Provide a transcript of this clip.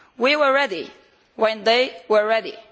We were ready when they were ready.